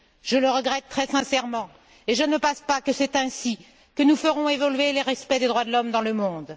Je le regrette très sincèrement et je ne pense pas que c'est ainsi que nous ferons évoluer le respect des droits de l'homme dans le monde.